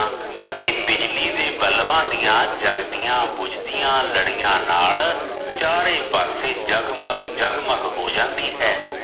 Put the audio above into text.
ਅਤੇ ਬਿਜਲੀ ਦੇ ਬਲਬਾ ਦੀਆ ਜਗਦੀਆ ਬੁਝਦੀਆ ਲੜਿਆ ਨਾਲ ਚਾਰੇ ਪਾਸੇ ਜਗ ਮਗ ਜਗ ਮਗ ਹੋ ਜਾਂਦੀ ਹੈ।